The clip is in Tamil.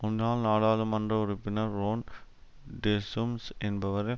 முன்னாள் நாடாளுமன்ற உறுப்பினர் ரொன் டெஸும்ஸ் என்பவரை